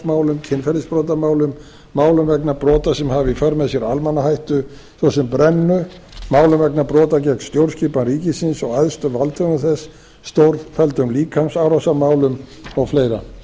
manndrápsmálum kynferðisbrotamálum málum vegna brota sem hafa í för með sér almannahættu svo sem brennu málum vegna brota gegn stjórnskipan ríkisins og æðstu valdhöfum þess stórfelldum líkamsárásarmálum og fleira